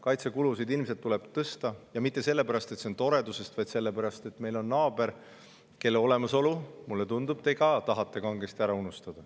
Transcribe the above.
Kaitsekulusid tuleb ilmselt tõsta ja mitte toredusest, vaid sellepärast, et meil on naaber, kelle olemasolu, mulle tundub, te tahate ka kangesti ära unustada.